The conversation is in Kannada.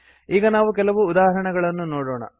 ಈಗ ನಾವು ಕೆಲವು ಉದಾಹರಣೆಗಳನ್ನು ನೋಡೋಣ